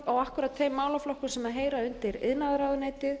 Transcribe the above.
en akkúrat þeir málaflokkar sem heyra undir iðnaðarráðuneytið